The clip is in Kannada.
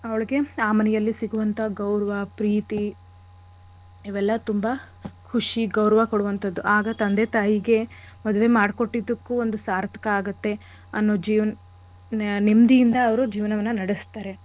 ಅವಳ್ಗೆ ಆ ಮನೆಯಲ್ಲಿ ಸಿಗುವಂಥ ಗೌರವ ಪ್ರೀತಿ ಇವೆಲ್ಲ ತುಂಬ ಖುಷಿ ಗೌರವ ಕೊಡುವಂಥದ್ದು. ಆಗ ತಂದೆ ತಾಯಿಗೆ ಮದ್ವೆ ಮಾಡ್ ಕೊಟ್ಟಿದ್ದಕ್ಕೂ ಒಂದು ಸಾರ್ಥಕ ಆಗತ್ತೆ ಅನ್ನೋ ಜೀವ ನೆಮ್ಮದಿಯಿಂದ ಅವ್ರು ಜೀವನವನ್ನ ನಡೆಸ್ತಾರೆ.